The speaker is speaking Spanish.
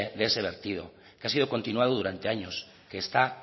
de ese vertido que ha sido continuado durante años que está